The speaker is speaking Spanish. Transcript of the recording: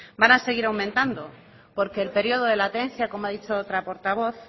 van a seguir aumentando porque el periodo de latencia como ha dicho otra portavoz